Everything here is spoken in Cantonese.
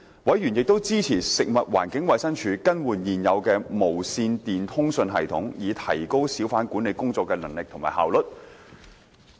委員亦支持食物環境衞生署更換現有的無線電通訊系統，以提高小販管理工作的能力和效率。